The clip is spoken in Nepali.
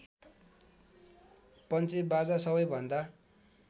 पञ्चेबाजा सबैभन्दा